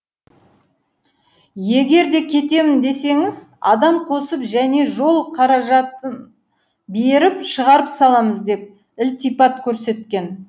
егер де кетемін десеңіз адам қосып және жол қаражатын беріп шығарып саламыз деп ілтипат көрсеткен